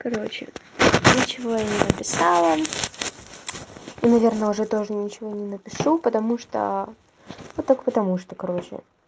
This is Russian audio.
короче ничего я не написала и наверное уже тоже ничего не напишу потому что вот так потому что короче